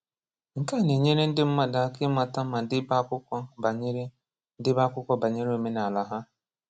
Nke a na-enyere ndị mmadụ aka ịmata ma débé akwụkwọ banyere débé akwụkwọ banyere omenala ha.